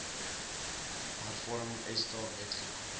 hervorming esta wetgewing